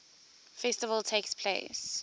festival takes place